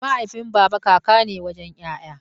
Mahaifin baba kaka ne wajen 'ya'ya.